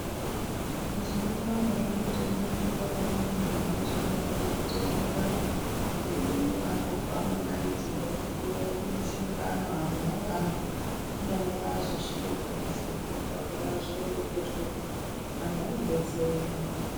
Teizondoramba hedu teindobonga vona vantu vanozodarokwo kuteerera ngemuromo apo paanodqidzera kuti uyai kumushungano antu aarambi kubeni vanenge vazosvike pamusangano pona zvooreketwepo anhu anodetsereka.